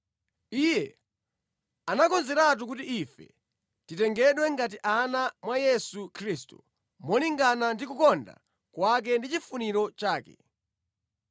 Iye anakonzeratu kuti ife titengedwe ngati ana mwa Yesu Khristu, molingana ndi kukonda kwake ndi chifuniro chake.